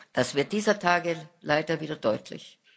Das wird dieser Tage leider wieder deutlich.